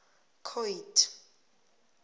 coid